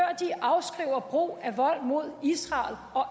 og brug af vold mod israel og